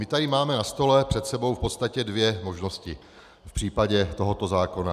My tady máme na stole před sebou v podstatě dvě možnosti v případě tohoto zákona.